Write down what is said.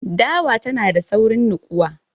Dawa tanada saurin niƙuwa.